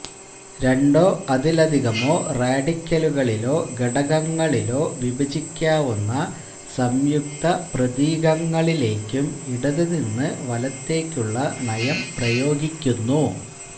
രണ്ടോ അതിലധികമോ റാഡിക്കലുകളിലോ ഘടകങ്ങളിലോ വിഭജിക്കാവുന്ന സംയുക്ത പ്രതീകങ്ങളിലേക്കും ഇടതുനിന്ന് വലത്തേയ്ക്കുള്ള നയം പ്രയോഗിക്കുന്നു